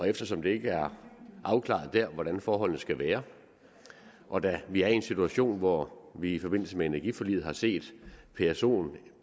eftersom det ikke er afklaret der hvordan forholdene skal være og da vi er i en situation hvor vi i forbindelse med energiforliget har set psoen